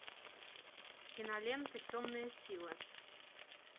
кинолента темная сила